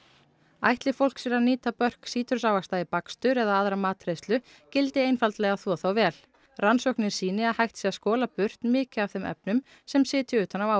ætli fólk sér að nýta börk sítrusávaxta í bakstur eða aðra matreiðslu gildi einfaldlega að þvo þá vel rannsóknir sýni að hægt sé að skola burt mikið af þeim efnum sem sitji utan á